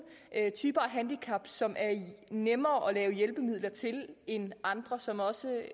typer af handicap som er nemmere at lave hjælpemidler til end andre som også